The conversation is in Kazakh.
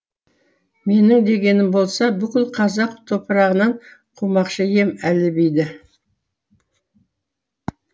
менің дегенім болса бүкіл қазақ топырағынан қумақшы ем әлібиді